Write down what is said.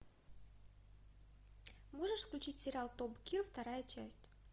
можешь включить сериал топ гир вторая часть